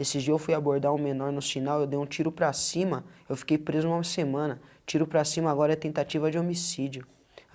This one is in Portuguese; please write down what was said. Esses dia eu fui abordar um menor no sinal, eu dei um tiro para cima, eu fiquei preso uma semana, tiro para cima, agora é tentativa de homicídio.